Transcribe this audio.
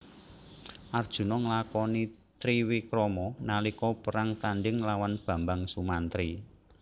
Arjuna nglakoni triwikrama nalika perang tandhing lawan Bambang Sumantri